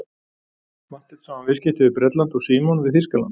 Marteinn sá um viðskipti við Bretland og Símon við Þýskaland.